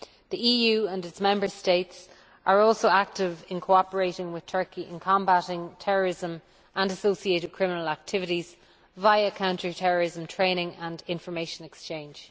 The EU and its Member States are also active in cooperating with Turkey in combating terrorism and associated criminal activities via counter terrorism training and information exchange.